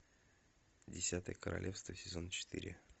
десятое королевство сезон четыре